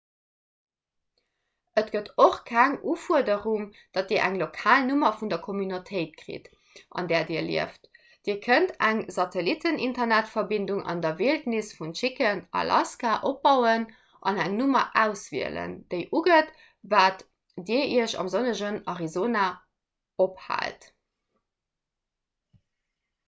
et gëtt och keng ufuerderung datt dir eng lokal nummer vun der communautéit kritt an där dir lieft; dir kënnt eng satellitteninternetverbindung an der wildnis vun chicken alaska opbauen an eng nummer auswielen déi ugëtt datt dir iech am sonnegen arizona ophaalt